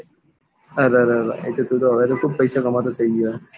અરેરેરે એટલે તું તો ખુબ જ પૈસા કમાતો થઇ ગયો